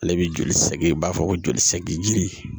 Ale bi joli sɛgi i b'a fɔ ko joli sɛki ji jiri